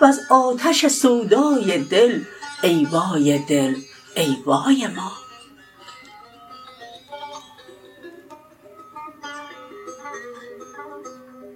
وز آتش سودای دل ای وای دل ای وای ما